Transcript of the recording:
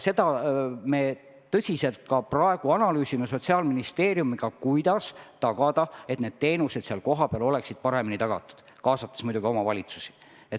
Seda me praegu ka tõsiselt analüüsime Sotsiaalministeeriumiga, kuidas tagada, et kohapealsed teenused oleksid paremini tagatud, kaasates muidugi omavalitsusi.